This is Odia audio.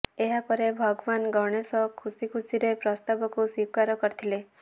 ଏହାପରେ ଭଗବାନ ଗଣେଶ ଖୁସି ଖୁସିରେ ପ୍ରସ୍ତାବକୁ ସ୍ବିକାର କରିଥିଲେ